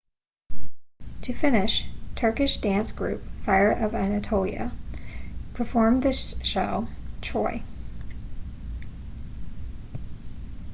to finish turkish dance group fire of anatolia performed the show troy